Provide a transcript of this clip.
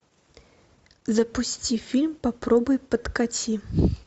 запусти фильм попробуй подкати